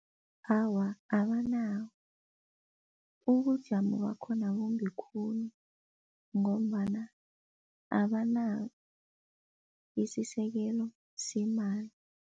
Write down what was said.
Awa, abanawo. Ubujamo bakhona bumbi khulu ngombana abanasisekelo semali.